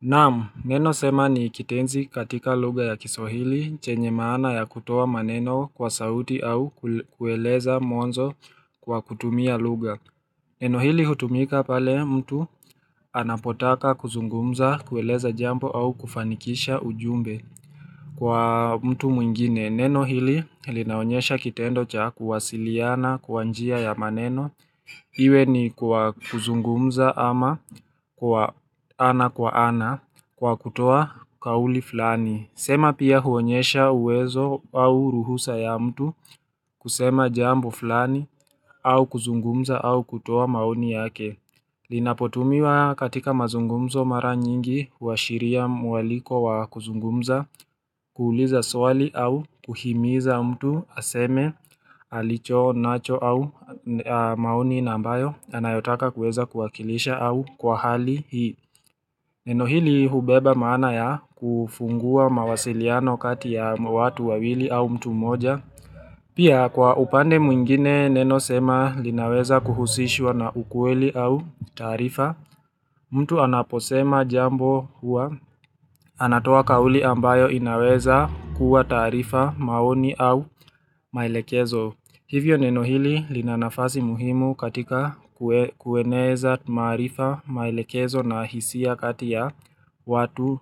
Naam, neno sema ni kitenzi katika lugha ya kiswahili, chenye maana ya kutoa maneno kwa sauti au kueleza mwanzo kwa kutumia lugha. Neno hili hutumika pale mtu anapotaka kuzungumza, kueleza jambo au kufanikisha ujumbe. Kwa mtu mwingine neno hili linaonyesha kitendo cha kuwasiliana kwa njia ya maneno Iwe ni kwa kuzungumza ama kwa ana kwa ana kwa kutoa kauli fulani. Sema pia huonyesha uwezo au ruhusa ya mtu kusema jambo fulani au kuzungumza au kutoa maoni yake Linapotumiwa katika mazungumzo mara nyingi huashiria mwaliko wa kuzungumza kuuliza swali au kuhimiza mtu aseme alicho nacho au mauni nambayo anayotaka kuweza kuwakilisha au kwa hali hii Neno hili hubeba maana ya kufungua mawasiliano kati ya watu wawili au mtu mmoja Pia kwa upande mwingine neno sema linaweza kuhusishwa na ukweli au taarifa mtu anaposema jambo huwa anatoa kauli ambayo inaweza kuwa taarifa, maoni au maelekezo. Hivyo neno hili lina nafasi muhimu katika kueneza maarifa maelekezo na hisia kati ya watu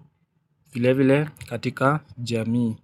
vile vile katika jamii.